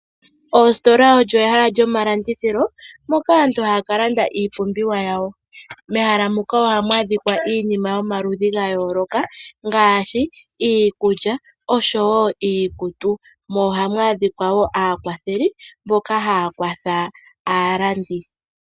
Oostola odho ehala lyomalandithilo moka aantu haya landa iipumbiwa yawo. Ohamu adhika iinima yomaludhi gayooloka ngaashi iikulya oshowo iikutu. Ohamu adhika woo aakwatheli mboka haya kwathele aalandi.